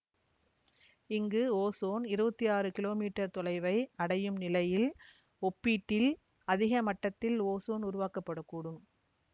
இங்கு ஓசோன் இருவத்தி ஆறு கிலோமீட்டர் தொலைவை அடையும் நிலையில் ஒப்பீட்டில் அதிக மட்டத்தில் ஓசோன் உருவாக்கப்படக்கூடும்